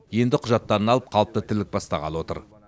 енді құжаттарын алып қалыпты тірлік бастағалы отыр